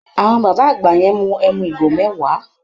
Àwọn bàbá àgbà yẹn mu ẹmu ìgò mẹ́wàá.